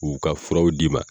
U ka furaw d'i ma.